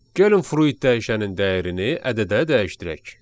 Gəlin fruit dəyişənin dəyərini ədədə dəyişdirək.